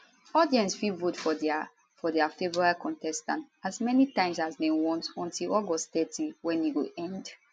audience fit vote for dia for dia favourite contestant as many times as dem want until august thirty wen e go end